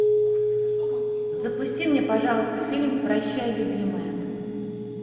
запусти мне пожалуйста фильм прощай любимая